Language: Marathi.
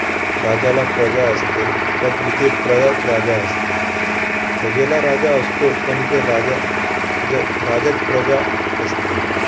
राजाला प्रजा असते पण इथे प्रजाच राजा असते. प्रजेला राजा असतो पण इथे राजा~ ज~ राजाच प्रजा असते.